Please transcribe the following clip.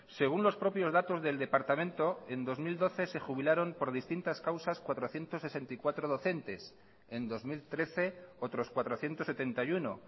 según los propios datos del departamento en dos mil doce se jubilaron por distintas causas cuatrocientos sesenta y cuatro docentes en dos mil trece otros cuatrocientos setenta y uno